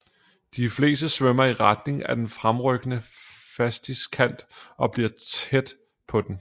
De fleste svømmer i retning af den fremrykkende fastiskant og bliver tæt på den